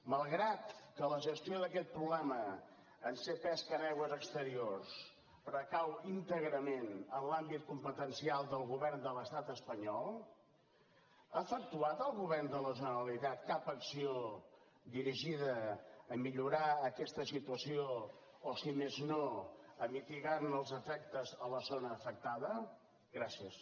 malgrat que la gestió d’aquest problema en ser pesca en aigües exteriors recau íntegrament en l’àmbit competencial del govern de l’estat espanyol ha efectuat el govern de la generalitat cap acció dirigida a millorar aquesta situació o si més no a mitigarne els efectes a la zona afectada gràcies